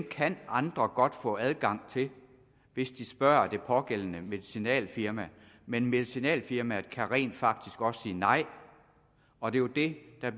kan andre godt få adgang til hvis de spørger det pågældende medicinalfirma men medicinalfirmaet kan rent faktisk også sige nej og det det er